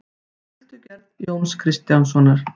Sultugerð Jóns Konráðssonar.